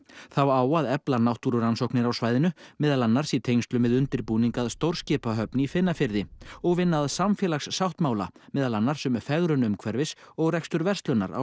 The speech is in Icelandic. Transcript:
þá á að efla náttúrurannsóknir á svæðinu meðal annars í tengslum við undirbúning að stórskipahöfn í Finnafirði og vinna að samfélagssáttmála meðal annars um fegrun umhverfis og rekstur verslunar á